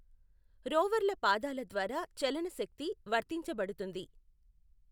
రోవర్ల పాదాల ద్వారా చలన శక్తి వర్తించబడుతుంది.